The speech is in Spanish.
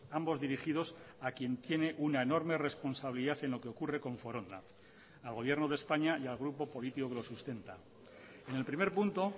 ambos dirigidos a quién tiene una enorme responsabilidad en lo que ocurre con foronda al gobierno de españa y al grupo político que lo sustenta en el primer punto